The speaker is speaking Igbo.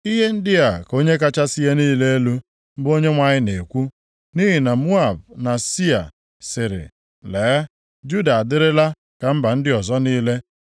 “Ihe ndị a ka Onye kachasị ihe niile elu, bụ Onyenwe anyị na-ekwu, ‘Nʼihi na Moab na Sia sịrị, “Lee, Juda adịrịla ka mba ndị ọzọ niile,”